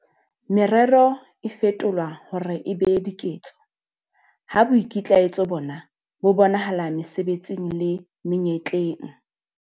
Merero e fetolwa hore e be diketso ha boikitlaetso bona bo bonahala mesebetsing le menyetleng.